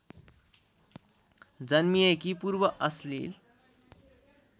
जन्मिएकी पूर्व अश्लिल